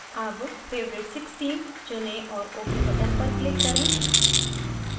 अब favorite 16 चुनें और ok button पर click करें